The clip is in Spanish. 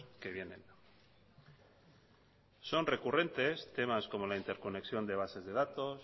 que vienen son recurrentes temas como la interconexión de bases de datos